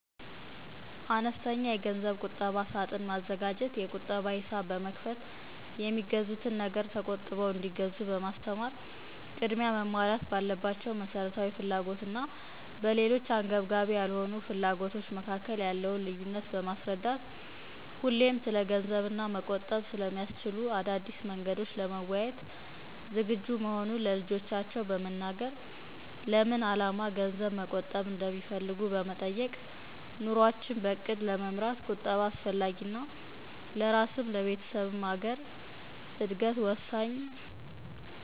አነስተኛ የገንዘብ ቁጠባ ሳጥን መዘጋጀት፣ የቁጠባ ሂሳብ በመክፈት፣ የሚገዙትን ነገር ተቆጥበው እንዲገዙ በማስተማር። ቅድሚያ መሞላት ባለባቸው መሠረታዊ ፍላጎቶች እና በሌሎች አንገብጋቢ ያልሆኑ ፍለጎቶቾ መከከል ያለውን ልዩነት በማስረዳት። ሁሌም ስለገንዘብና መቆጠብ ስለሚያስችሉ አዳዲስ መንገዶች ለመወያየት ዝግጁ መሆኑን ለልጆቻቸው በመናገር። ለምን አላማ ገንዘብ መቆጠብ እንደሚፈልጉ በመጠየቅ። ኑሮአችን በእቅድ ለመምራት ቁጠባ አስፈላጊና ለራስም ለቤተሰብም ለአገር እድገት ወሳኝ